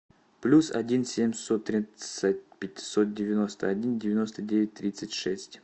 плюс один семьсот тридцать пятьсот девяносто один девяносто девять тридцать шесть